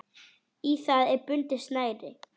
Í það er bundið snæri.